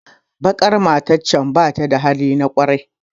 Baƙar matar can bata da halin kwarai